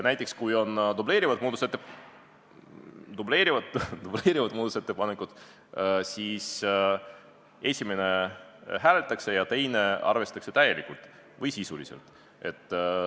Näiteks dubleerivate muudatusettepanekute korral esimest hääletatakse ja teist arvestatakse täielikult või sisuliselt.